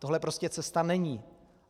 Tohle prostě cesta není.